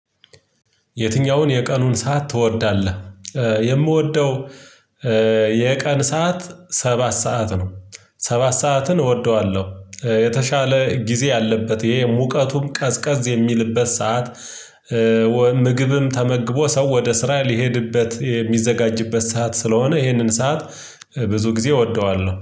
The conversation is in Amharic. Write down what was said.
የትኛውን የቀኑን ሰዓት ትወዳለህ? የምወደው የቀን ሰዓት ሰባት ሰዓት ነው ሰባት ሰዓትን እወደዋለሁ የተሻለ ጊዜ አለበት ይሄ ሙቀቱም ቀዝቀዝ የሚልበት ሰዓት ምግብም ተመግቦ ሰው ወደ ስራ ሊሄድበት የሚዘጋጅበት ሰዓት ስለሆነ ይህንን ሰዓት ብዙ ጊዜ እወደዋለሁ